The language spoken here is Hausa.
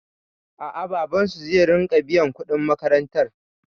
A'a, babansu zai riƙa biyan kuɗin makarantar.